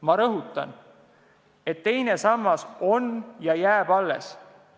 Ma rõhutan, et teine sammas on olemas ja jääb alles.